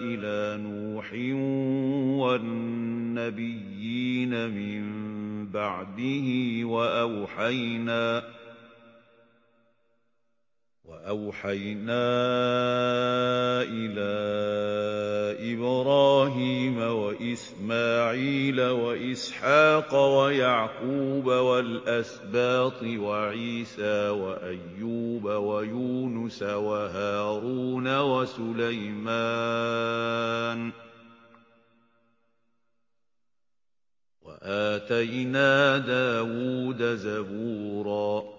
إِلَىٰ نُوحٍ وَالنَّبِيِّينَ مِن بَعْدِهِ ۚ وَأَوْحَيْنَا إِلَىٰ إِبْرَاهِيمَ وَإِسْمَاعِيلَ وَإِسْحَاقَ وَيَعْقُوبَ وَالْأَسْبَاطِ وَعِيسَىٰ وَأَيُّوبَ وَيُونُسَ وَهَارُونَ وَسُلَيْمَانَ ۚ وَآتَيْنَا دَاوُودَ زَبُورًا